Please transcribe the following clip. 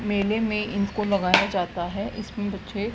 मेले में इनको लगाया जाता है इसमे बच्चे--